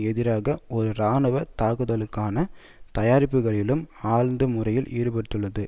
எதிரான ஒரு இராணுவ தாக்குதலுக்கான தயாரிப்புக்களிலும் ஆழ்ந்த முறையில் ஈடுபட்டுள்ளது